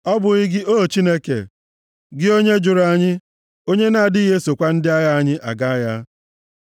Ọ bụghị gị, O Chineke? Gị onye jụrụ anyị, onye na-adịghị esokwa ndị agha anyị aga agha?